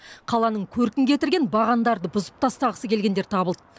қаланың көркін кетірген бағандарды бұзып тастағысы келгендер табылды